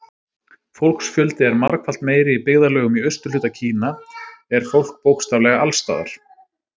Fólksfjöldi er margfalt meiri Í byggðarlögum í austurhluta Kína er fólk bókstaflega alls staðar.